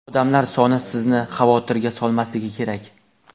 odamlar soni sizni xavotirga solmasligi kerak.